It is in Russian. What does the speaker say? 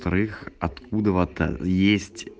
откуда есть